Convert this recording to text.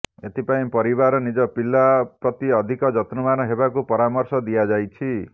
ଏଥିପାଇଁ ପରିବାର ନିଜ ପିଲା ପ୍ରତି ଅଧିକ ଯତ୍ନବାନ ହେବାକୁ ପରାମର୍ଶ ଦିଆଯାଇଛି